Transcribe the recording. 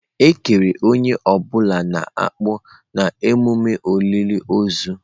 Ekere onye ọ bụla na akpu na emume olili ozu.